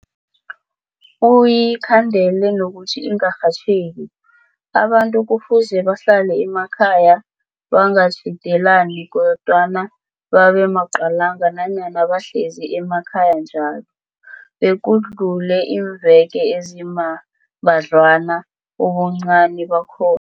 uyikhandele nokuthi ingarhatjheki, abantu kufuze bahlale emakhaya, bangatjhidelani kodwana babe maqalanga nanyana bahlezi emakhaya njalo, bekudluleiimveke ezimbadlwana, ubuncani bakho